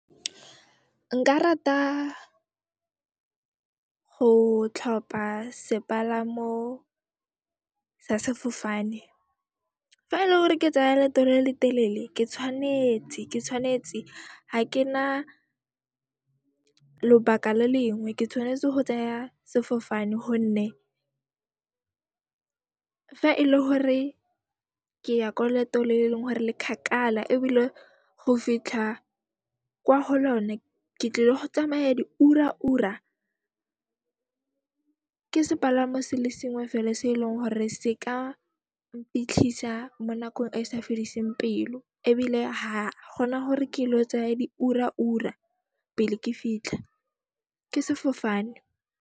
Nka rata go tlhopa sepalamo sa sefofane fa ele hore ke tsaya leeto le le telele ke tshwanetse, ke tshwanetse ha ke na lobaka le lengwe, ke tshwanetse go tsaya sefofane honne fa e le hore ke ya ko leetong le eleng hore le kgakala ebile go fitlha kwa ho lone ke tlile go tsamaya di ura ura, ke sepalamo se le sengwe fela se eleng hore se ka mpitlhisa mo nakong e e sa fediseng pelo ebile ha gona gore ke ilo tsaya di ura-ura pele ke fitlha, ke sefofane.